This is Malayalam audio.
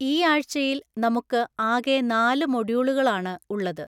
ഈ ആഴ്ചയിൽ നമുക്ക് ആകെ നാല് മോഡ്യൂളുകൾആണ് ഉള്ളത്.